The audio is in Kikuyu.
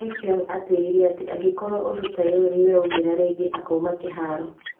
Effiong nĩatwĩrire atĩ, angĩkorwo ũndũ taũyũ nĩũraũmĩra rĩngĩ, akauma kĩharo